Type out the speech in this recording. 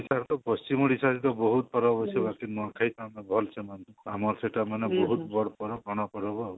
ପଶ୍ଚିମ ଓଡିଶାର ତ ବହୁତ ପର୍ବ ଅଛି ନୂଆଖାଇ କୁ ଆମେ ଭଲସେ ମାନୁ ଆମର ସେଟା ମାନେ ବହୁତ ବଡ ପର୍ବ